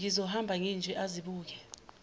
ngizohamba nginje azibuke